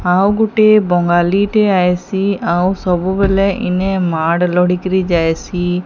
ଆଉ ଗୋଟିଏ ବଙ୍ଗାଲୀଟିଏ ଆଏସି ଆଉ ସବୁବେଲେ ଇନେ ମାଡ଼୍ ଲୋଡ଼ିକିରି ଯାଏସି।